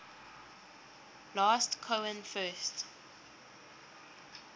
last cohen first